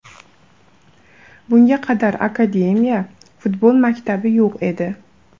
Bunga qadar akademiya, futbol maktabi yo‘q edi.